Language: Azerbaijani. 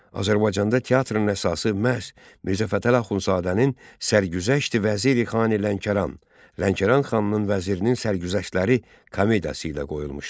Azərbaycanda teatrın əsası məhz Mirzə Fətəli Axundzadənin Sərgüzəşti-Vəziri-Xani-Lənkəran (Lənkəran xanının vəzirinin sərgüzəştləri) komediyası ilə qoyulmuşdur.